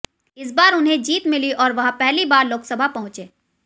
इस बार उन्हें जीत मिली और वह पहली बार लोकसभा पहुंचे